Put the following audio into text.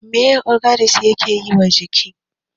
Me ogiri yake yiwa jiki?